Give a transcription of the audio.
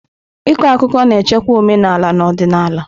Ịkọ akụkọ na-echekwa omenala na odịnala.